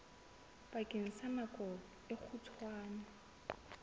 bakeng sa nako e kgutshwane